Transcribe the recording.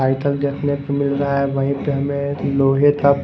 देखने को मिल रहा है वहीं पे हमें लोहे का--